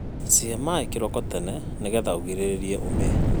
cĩhe maĩ kĩroko tene nĩgetha ũgĩrĩrĩrĩe ũme